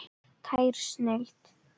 Tær snilld.